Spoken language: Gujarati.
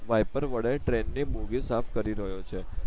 વાઈપર વડે ટ્રેન ની બોગી સાફ કરી રયો છે